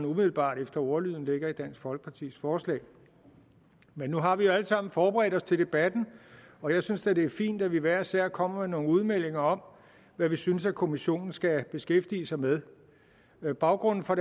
umiddelbart efter ordlyden ligger i dansk folkepartis forslag men nu har vi jo alle sammen forberedt os til debatten og jeg synes da det er fint at vi hver især kommer med nogle udmeldinger om hvad vi synes kommissionen skal beskæftige sig med med baggrunden for